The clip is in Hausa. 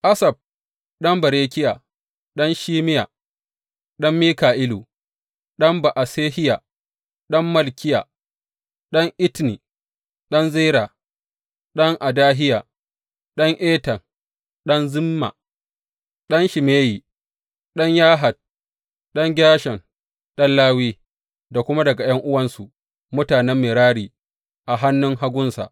Asaf ɗan Berekiya, ɗan Shimeya, ɗan Mika’ilu, ɗan Ba’asehiya, ɗan Malkiya, ɗan Etni, ɗan Zera, ɗan Adahiya ɗan Etan, ɗan Zimma, ɗan Shimeyi, ɗan Yahat, ɗan Gershom, ɗan Lawi; da kuma daga ’yan’uwansu, mutanen Merari, a hannun hagunsa.